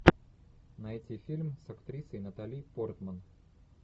найти фильм с актрисой натали портман